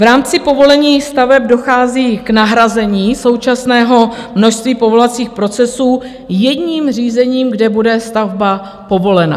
V rámci povolení staveb dochází k nahrazení současného množství povolovacích procesů jedním řízením, kde bude stavba povolena.